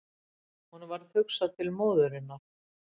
Honum varð hugsað til Móðurinnar.